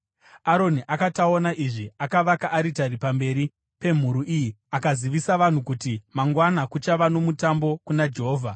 Aroni akati aona izvi, akavaka aritari pamberi pemhuru iya akazivisa vanhu kuti, “Mangwana kuchava nomutambo kuna Jehovha.”